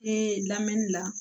Ee lamɛnni la